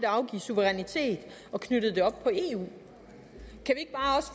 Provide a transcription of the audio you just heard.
afgive suverænitet og knyttede det op på eu